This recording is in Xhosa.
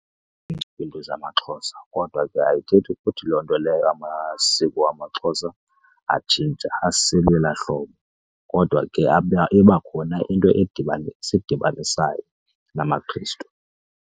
kwiinto zamaXhosa kodwa ke ayithethi ukuthi loo nto leyo amasiko wamaXhosa atshintsha aselelaa hlobo. Kodwa ke ibakhona into esidibanisayo namaKhrestu.